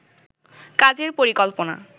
কাজের পরিকল্পনা